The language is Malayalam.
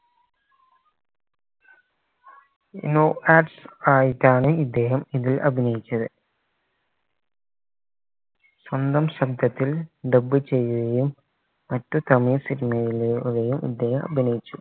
no adds ആയിട്ടാണ് ഇദ്ദേഹം ഇതിൽ അഭിനയിച്ചത് സ്വന്തം ശബ്ദത്തിൽ dub ചെയ്യുകയും മറ്റു തമിഴ് cinema ലെ ഇദ്ദേഹം അഭിനയിച്ചു